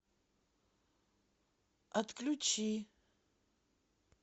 отключи